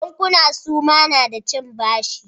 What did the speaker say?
Bankuna suma na da cin bashi?